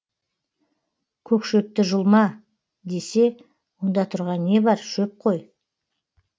көк шөпті жұлма десе онда тұрған не бар шөп қой